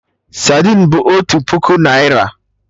Sadin bụ otu puku naira